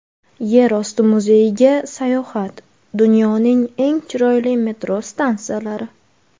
Yerosti muzeyiga sayohat: Dunyoning eng chiroyli metro stansiyalari .